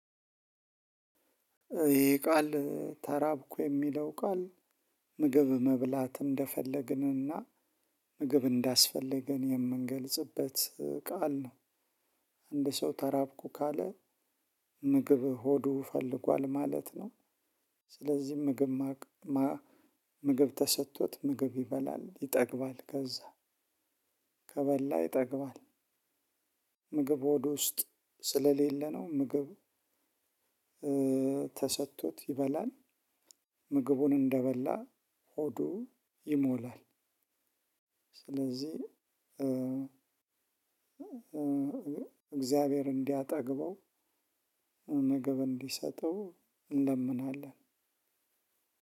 ይሄ ቃል ተራብኩ የሚለው ቃል ምግብ መብላት እንደፈለግንና ምግብ እንዳስፈለገን የምንገልጽበት ቃል ነው። አንድ ሰው ተራብኩ ካለ ምግብ ሆዱ ፈልጓል ማለት ነው። ስለዚህ ምግ፣ ምግብ ተሰጥቶት ምግብ ይበላል ይጠግባል ከዛ ከበላ ይጠግባል። ምግብ ሆዱ ውስጥ ስለሌለ ነው ምግብ ተሰጥቶት ይበላል፣ ምግቡን እንደበላ ሆዱ ይሞላል። ስለዚህ እግዚአብሔር እንዲያጠግበው ምግብ እንዲሰጠው እንለምናለን።